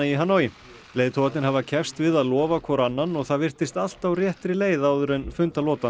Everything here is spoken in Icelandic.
í Hanoi leiðtogarnir hafa keppst við að lofa hvor annan og það virtist allt á réttri leið áður en